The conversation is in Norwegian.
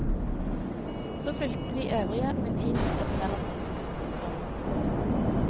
Så fulgte de øvrige med ti minutters mellomrom. punktum